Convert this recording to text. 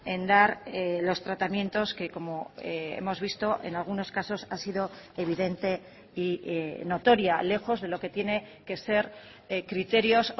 en dar los tratamientos que como hemos visto en algunos casos ha sido evidente y notoria lejos de lo que tiene que ser criterios